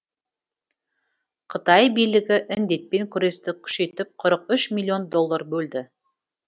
қытай билігі індетпен күресті күшейтіп қырық үш миллион доллар бөлді